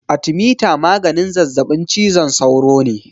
Arthermeter maganin zazaɓin cizon sauro ne.